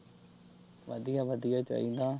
ਵਧੀਆ-ਵਧੀਆ ਚਾਹੀਦਾ।